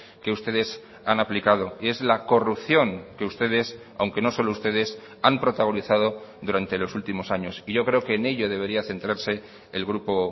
que ustedes han aplicado y es la corrupción que ustedes aunque no solo ustedes han protagonizado durante los últimos años y yo creo que en ello debería centrarse el grupo